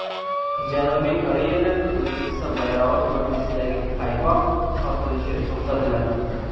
Janubiy Koreyada O‘zbekiston bayrog‘i ko‘rinishidagi paypoq sotilishi to‘xtatiladi .